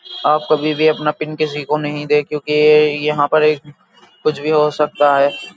आप कभी भी अपना पिन किसी कोई नहीं दे क्योंकि यहा पे एक कुछ भी हो सकता है।